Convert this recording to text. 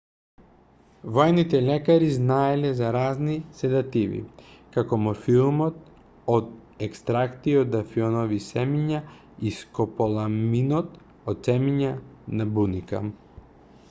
воените лекари знаеле за разни седативи како морфиумот од екстракти од афионови семиња и скополаминот од семиња на буника